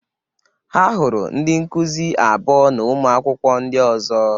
Ha hụrụ ndị nkuzi abụọ na ụmụ akwụkwọ ndị ọzọ.